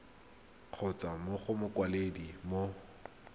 kgotsa mo go mokwaledi mo